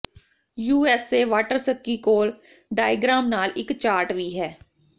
USA waterski ਕੋਲ diagram ਨਾਲ ਇੱਕ ਚਾਰਟ ਵੀ ਹੈ